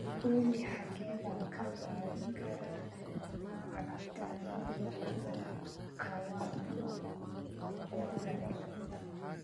olly xagee baan ka qaadan karaa cabbitaannada kawangware